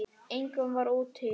Engum var úthýst.